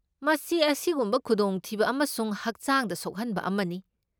ꯃꯁꯤ ꯑꯁꯤꯒꯨꯝꯕ ꯈꯨꯗꯣꯡꯊꯤꯕ ꯑꯃꯁꯨꯡ ꯍꯛꯆꯥꯡꯗ ꯁꯣꯛꯍꯟꯕ ꯑꯃꯅꯤ꯫